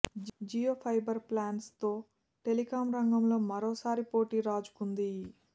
Jio fibre plans తో telecom రంగంలో మరొకసారి పోటీ రాజుకుంది